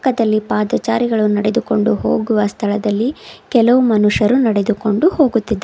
ಮತ್ತಲ್ಲಿ ಪಾದಚಾರಿಗಳು ನಡೆದುಕೊಂಡು ಹೋಗುವ ಸ್ಥಳದಲ್ಲಿ ಕೆಲವು ಮನುಷ್ಯರು ನಡೆದುಕೊಂಡು ಹೋಗುತ್ತಿದ್ದಾ--